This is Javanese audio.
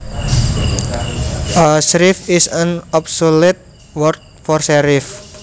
A shrieve is an obsolete word for sheriff